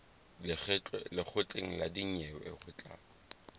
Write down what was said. lekgotleng la dinyewe ho tla